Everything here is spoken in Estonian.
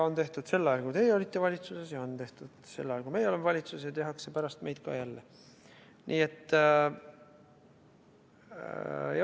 On tehtud sel ajal, kui teie olite valitsuses, ja on tehtud sel ajal, kui meie oleme valitsuses, ja tehakse pärast meid ka jälle.